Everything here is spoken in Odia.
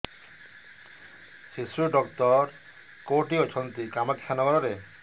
ଶିଶୁ ଡକ୍ଟର କୋଉଠି ଅଛନ୍ତି କାମାକ୍ଷାନଗରରେ